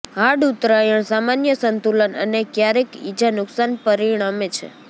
hard ઉતરાણ સામાન્ય સંતુલન અને ક્યારેક ઈજા નુકશાન પરિણમે છે